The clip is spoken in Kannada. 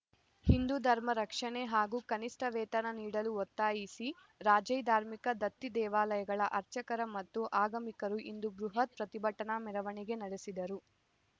ಹಿಂದು ಧರ್ಮ ರಕ್ಷಣೆ ಹಾಗೂ ಕನಿಷ್ಟ ವೇತನ ನೀಡಲು ಒತ್ತಾಯಿಸಿ ರಾಜ್ಯ ಧಾರ್ಮಿಕ ದತ್ತಿ ದೇವಾಲಯಗಳ ಅರ್ಚಕರ ಮತ್ತು ಆಗಮಿಕರು ಇಂದು ಬೃಹತ್ ಪ್ರತಿಭಟನಾ ಮೆರವಣಿಗೆ ನಡೆಸಿದರು